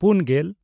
ᱯᱩᱱᱼᱜᱮᱞ